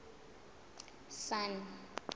sun